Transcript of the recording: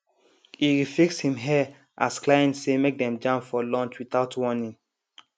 e refix him hair as client say make dem jam for lunch without warning